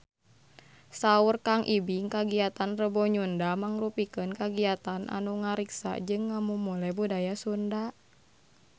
Saur Kang Ibing kagiatan Rebo Nyunda mangrupikeun kagiatan anu ngariksa jeung ngamumule budaya Sunda